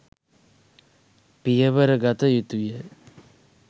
පියවර ගත යුතුය.